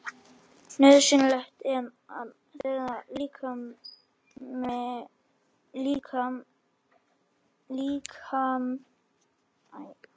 Nauðsynlegt er að þerra líkamann vel eftir bað.